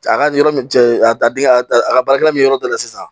A ka yɔrɔ ja a da a ka baarakɛyɔrɔ bɛ yɔrɔ da yɛlɛ sisan